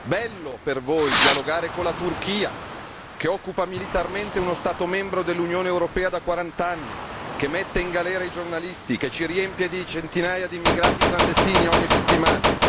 Bello per voi dialogare con la Turchia, che occupa militarmente uno Stato membro dell'Unione europea da quarant'anni, che mette in galera i giornalisti e che ci riempie di centinaia di immigrati clandestini ogni settimana.